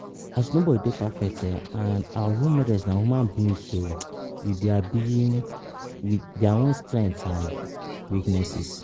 As nobody dey perfect and our role models na human beings ohh with their beens with dia own strengths and weaknesses.